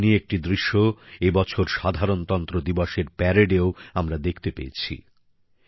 এমনই একটি দৃশ্য এবছর সাধারণতন্ত্র দিবসের প্যারেডেও আমরা দেখতে পেয়েছি